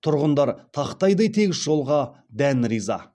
тұрғындар тақтайдай тегіс жолға дән риза